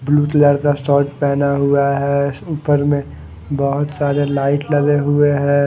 Blue colour का shirt पहना हुआ है ऊपर में बहोत सारे लाइट लगे हुए हैं।